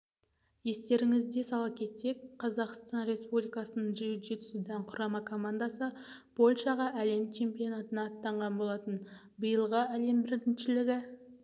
естеріңізге сала кетсек қазақстан республикасының джиу-джитсудан құрама командасы польшаға әлем чемпионатына аттанған болатын биылғы әлем біріншілігі